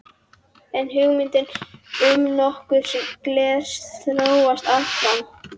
En hugmyndin um notkun glers þróast áfram.